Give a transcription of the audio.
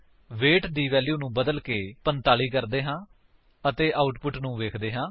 wait ਦੀ value ਨੂੰ ਬਦਲਕੇ 45 ਕਰਦੇ ਹਨ ਅਤੇ ਆਉਟਪੁਟ ਨੂੰ ਵੇਖਦੇ ਹਾਂ